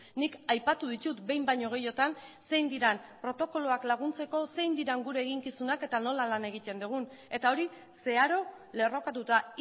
nik aipatu ditut behin baino gehiagotan zein diren protokoloak laguntzeko zein diren gure eginkizunak eta nola lan egiten dugun eta hori zeharo lerrokatuta